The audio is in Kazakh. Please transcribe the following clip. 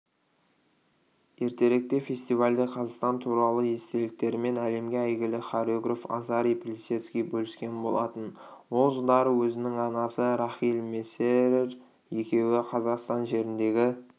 ертеректе фестивальде қазақстан туралы естеліктерімен әлемге әйгілі хореограф азарий плисецкий бөліскен болатын ол жылдары өзінің анасы рахиль мессерер екеуі қазақстан жеріндегі